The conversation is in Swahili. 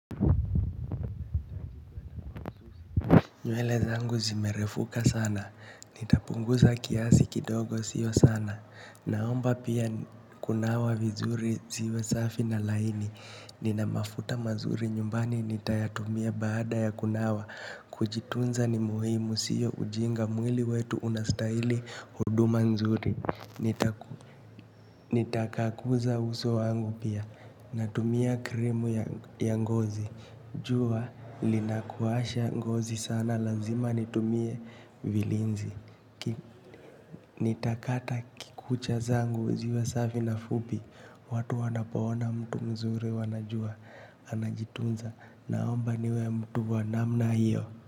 Nywele zangu zimerefuka sana, nitapunguza kiasi kidogo sio sana, naomba pia kunawa vizuri ziwe safi na laini, nina mafuta mazuri nyumbani nitayatumia baada ya kunawa, kujitunza ni muhimu sio ujinga mwili wetu unastahili huduma nzuri. Nitakaguza uso wangu pia. Natumia krimu ya ngozi. Jua linakausha ngozi sana lazima nitumie vilinzi. Nitakata kucha zangu ziwa safi na fupi. Watu wanapoona mtu mzuri wanajua. Anajitunza naomba niwe mtu wa namna hiyo.